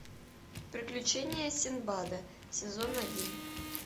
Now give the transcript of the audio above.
приключения синдбада сезон один